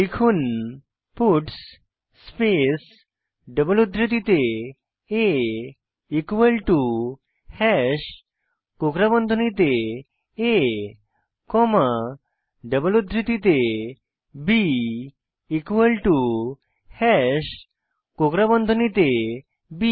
লিখুন puts space double উদ্ধৃতিতে a equal to hash কোকড়া বন্ধনীতে a কমা ডাবল উদ্ধৃতিতে b ইকুয়াল টু হাশ কোকড়া বন্ধনীতে বি